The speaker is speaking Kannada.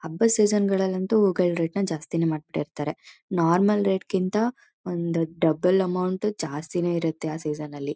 ಹಬ್ಬ ಸೀಸನ್ ನಲ್ಲಂತೂ ಕೆಲವರು ರಿಟರ್ನ್ ಜಾಸ್ತಿನೇ ಮಡ್ಬ್ ಬಿಟ್ಟಿರ್ತಾರೆ ನಾರ್ಮಲ್ ರೇಟ್ ಕಿಂತ ಒಂದ್ ಡಬಲ್ ಅಮೌಂಟ್ ಜಾಸ್ತಿನೇ ಇರುತ್ತೆ ಆ ಸೀಸೋನಲ್ಲಿ